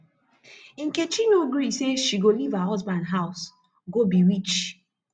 nkechi no gree say she go leave her husband house go be witch